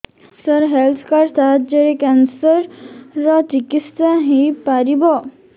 ସାର health card ସାହାଯ୍ୟରେ cancer ର ଚିକିତ୍ସା ହେଇପାରିବ